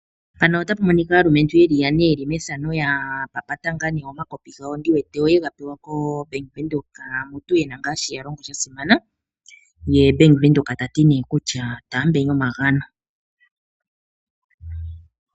Moanonitapu minika ngaa nee aalumentu yeli yane ya papata omakopi yega pewa ku bank windhoek yena mutu shoka ya longo sha simana ye bank windhoek tati taambeni omagano .